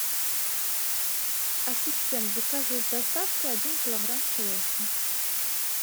ассистент закажи с доставкой один килограмм черешни